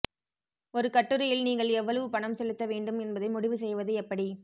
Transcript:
ஒரு கட்டுரையில் நீங்கள் எவ்வளவு பணம் செலுத்த வேண்டும் என்பதை முடிவு செய்வது எப்படி